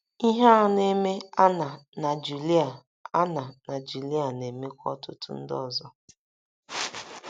Ihe a na - eme Anna na Julia Anna na Julia na - emekwa ọtụtụ ndị ọzọ.